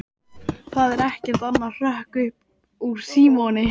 Það er ekkert annað hrökk upp úr Símoni.